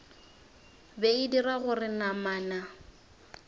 be e dira gore namana